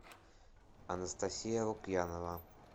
анастасия лукьянова